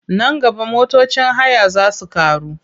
Nan gaba motocin haya za su ƙaru.